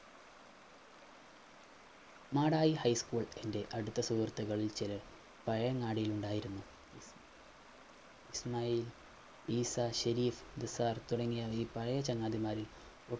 Madayi High School എൻറെ അടുത്ത സുഹൃത്തുക്കളിൽ ചിലർ പയങ്ങാടിയിൽ ഉണ്ടായിരുന്നു ഇസ്മായിൽ ഇശാഷെരിഫ് ദിസാർ തുടങ്ങിയ പയ ചങ്ങാതിമാരിൽ